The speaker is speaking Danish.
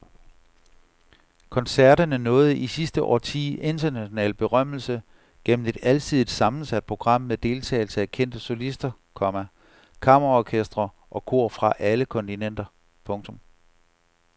Koncerterne nåede i sidste årti international berømmelse gennem et alsidigt sammensat program med deltagelse af kendte solister, komma kammerorkestre og kor fra alle kontinenter. punktum